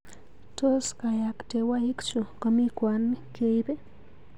Tos kayaktewaikchu komi kwon keip?